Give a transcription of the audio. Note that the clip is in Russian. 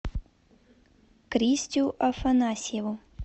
кристю афанасьеву